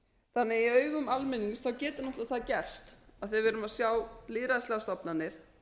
augum almennings getur það því náttúrlega gerst af því að við erum að sjá lýðræðislegar stofnanir